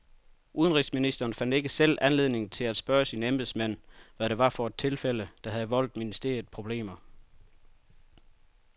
Udenrigsministeren fandt ikke selv anledning til at spørge sine embedsmænd, hvad det var for et tilfælde, der havde voldt ministeriet problemer.